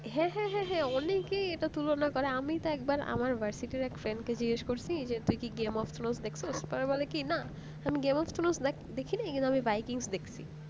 হ্যাঁ হ্যাঁ হ্যাঁ অনেকেই এটা তুলনা করে আমি তো একবার আমার একটা friend কে জিজ্ঞাসা করলাম game of throne দেখছোস তারপর বলে কি না কিন্তু আমি game of throne দেখনি